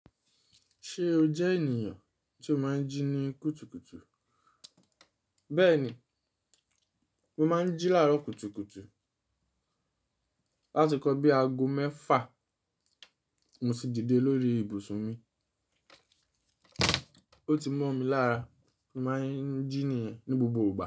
Ṣé o jẹ́ ènìyàn tí o máa ń jí ní kùtùkùtù? Bẹ́ẹ̀ni, mo máa ń jí láàárọ̀ kùtùkùtù. Láti nkan bí aago mẹ́fà mo sì dìde lórí ibùsùn mi. O ti mọ̀ mi lára, mo máa ń jí nìyẹn ní gbogbo ìgbà.